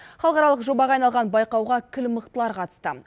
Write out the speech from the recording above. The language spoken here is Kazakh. халықаралық жобаға айналған байқауға кіл мықтылар қатысты